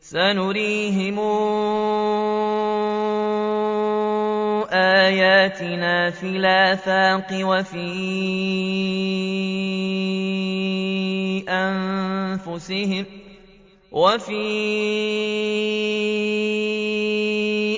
سَنُرِيهِمْ آيَاتِنَا فِي الْآفَاقِ وَفِي